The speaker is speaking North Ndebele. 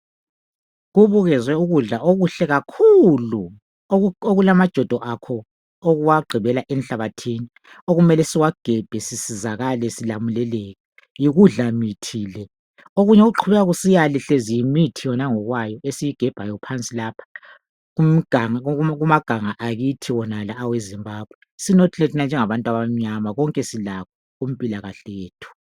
kubukezwe ukudla okuhle kakhulu okulajodo akho okuwagqibela enhlabathini okumele siwagebhe sisizakale yikudla mithi le okunye okuqhubeka kusiyale hlezi yimithi yona ngokwayo esiyigebhayo phansi lapha kumaganga akithi wonala awe Zimbabwe sinothile phela thina njengabantu abamnyama konke silakho kumpilakahle yethu